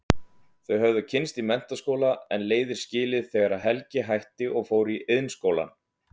Þau höfðu kynnst í menntaskóla en leiðir skilið þegar Helgi hætti og fór í Iðnskólann.